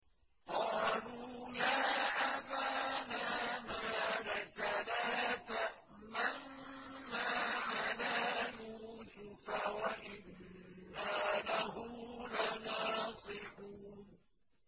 قَالُوا يَا أَبَانَا مَا لَكَ لَا تَأْمَنَّا عَلَىٰ يُوسُفَ وَإِنَّا لَهُ لَنَاصِحُونَ